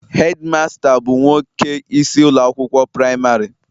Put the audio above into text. Hedimasta bụ nwoke isi ụlọ akwụkwọ praịmarị